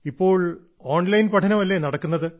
ഇപ്പോൾ ഓൺലൈൻ പഠനം അല്ലെ നടക്കുന്നത്